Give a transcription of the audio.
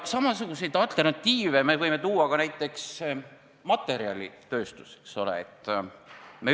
Samasuguseid alternatiive võime tuua ka näiteks materjalitööstuses, eks ole.